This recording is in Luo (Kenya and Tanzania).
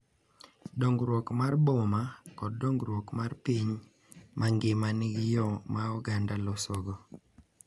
Dongruok mar boma, kod dongruok mar piny mangima nigi yo ma oganda losogo